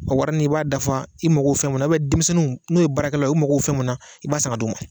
A warinin i b'a dafa i mago min na denmisɛnninw n'u ye baarakɛlaw u mago bɛ fɛn min na i b'a san ka d'u ma